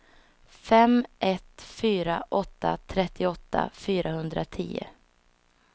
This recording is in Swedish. fem ett fyra åtta trettioåtta fyrahundratio